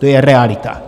To je realita.